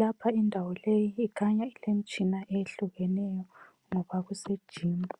Lapha indawo leyi ikhanya ilemitshina ehlukeneyo ngoba kusejimu.